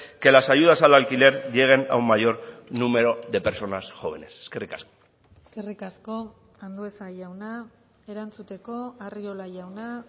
que las ayudas al alquiler lleguen a un mayor número de personas jóvenes eskerrik asko eskerrik asko andueza jauna erantzuteko arriola jauna